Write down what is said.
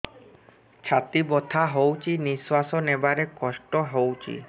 ଛାତି ବଥା ହଉଚି ନିଶ୍ୱାସ ନେବାରେ କଷ୍ଟ ହଉଚି